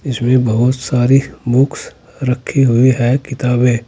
इसमें बहुत सारी बुक्स रखे हुए हैं किताबें--